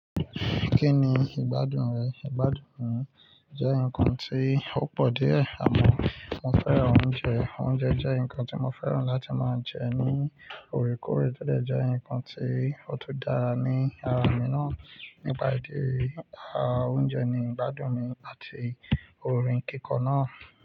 Kí ni ìgbádùn rẹ̀? Ìgbádùn jẹ́ nǹkan tí ó pọ̀ díẹ̀, àmọ́ mo fẹ́ràn oúnjẹ. Oúnjẹ jẹ́ nǹkan tí mo fẹ́ràn láti máa jẹ ní òòrèkòòrè, tó dẹ̀ jẹ́ nǹkan tí ó tún dára ní ara mi ná. Nípa ìdí èyí a oúnjẹ ni ìgbádùn mi àti orin kíkọ náà.